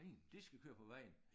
De skal køre på vejen